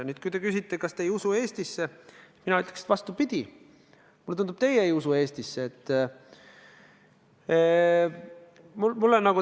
Nüüd, kui te küsite, kas ma ei usu Eestisse, siis mina ütleks vastupidi: mulle tundub, et teie ei usu Eestisse.